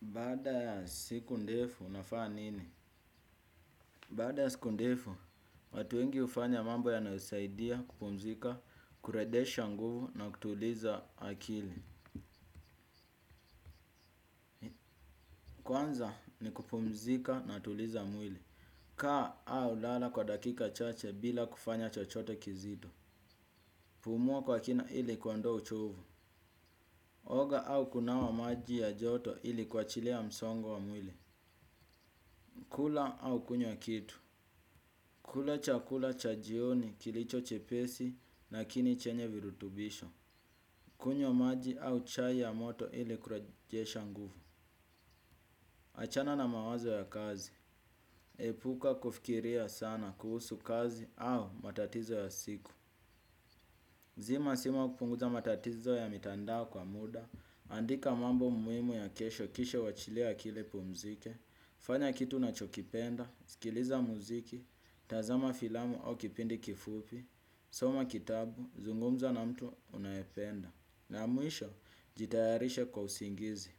Baada ya siku ndefu, unafaa nini? Baada ya siku ndefu, watu wengi hufanya mambo yanayosaidia kupumzika, kuredesha nguvu na kutuliza akili. Kwanza ni kupumzika natuliza mwili. Kaa au lala kwa dakika chache bila kufanya chochote kizito. Pumua kwa kina ili kuondoa uchovu. Oga au kunawa maji ya joto ili kuachilia msongo wa mwili. Kula au kunywa kitu. Kula cha kula cha jioni kilicho chepesi, nakini chenye virutubisho. Kunywa maji au chai ya moto ili kurejesha nguvu. Achana na mawazo ya kazi. Epuka kufikiria sana kuhusu kazi au matatizo ya siku. Zima simu au kupunguza matatizo ya mitandao kwa muda. Andika mambo muimu ya kesho kisha uwachilie akili ipumzike. Fanya kitu unachokipenda, sikiliza muziki, tazama filamu au kipindi kifupi. Soma kitabu, zungumza na mtu unayependa. Na mwisho, jitayarishe kwa usingizi.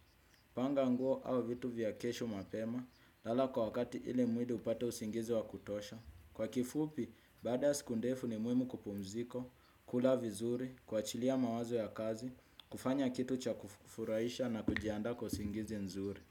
Panga nguo au vitu vya kesho mapema lala kwa wakati ili mwili upate usingizi wa kutosha. Kwa kifupi, badaa ya siku ndefu ni muimu kupumziko. Kula vizuri, kuachilia mawazo ya kazi kufanya kitu cha kufuraisha na kujiandaa kwa usingizi nzuri.